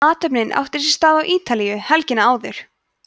athöfnin átti sér stað á ítalíu helgina áður